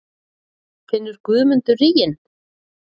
Finnur Guðmundur ríginn?